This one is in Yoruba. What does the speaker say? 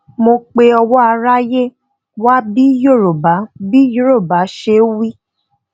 mo pe ọwọ aráyé wá bí yorùbá bí yorùbá ṣe wí